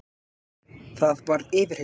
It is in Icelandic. Það varð yfirheyrsla.